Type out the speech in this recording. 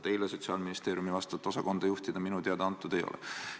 Teile Sotsiaalministeeriumi vastavat osakonda juhtida minu teada antud ei ole.